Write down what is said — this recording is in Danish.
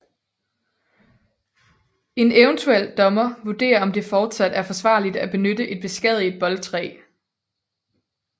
En eventuel dommer vurderer om det fortsat er forsvarligt at benytte et beskadiget boldtræ